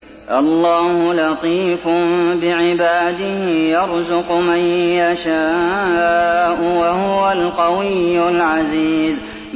اللَّهُ لَطِيفٌ بِعِبَادِهِ يَرْزُقُ مَن يَشَاءُ ۖ وَهُوَ الْقَوِيُّ الْعَزِيزُ